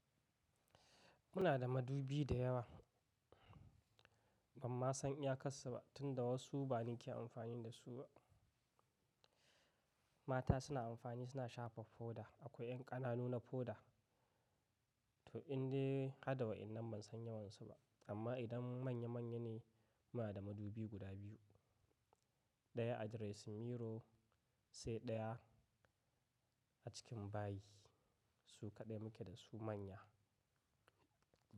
Muna da madubi da yawa, bamma san iya kassu ba tunda wasu ba ni ke amfani da su ba. Mata suna amfani suna shafa foda, akwai ƴan ƙananu na foda. To inde hada wa innan ban san yawansu ba. Amma idan manya manya ne muna da madubi guda biyu. Ɗaya a dressing mirror sai ɗaya a cikin bayi su kaɗai muke da su manya.